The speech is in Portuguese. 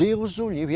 Deus o livre!